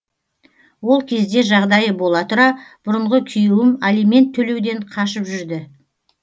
ол кезде жағдайы бола тұра бұрынғы күйеуім алимент төлеуден қашып жүрді